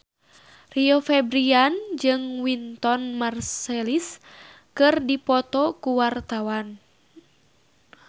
Rio Febrian jeung Wynton Marsalis keur dipoto ku wartawan